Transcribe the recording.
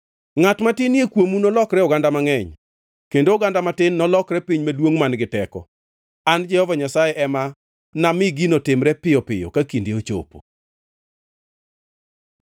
Ngʼat matinie kuomu nolokre oganda mangʼeny, kendo oganda matin nolokre piny maduongʼ man-gi teko. An Jehova Nyasaye ema nami gino timre piyo piyo ka kinde ochopo.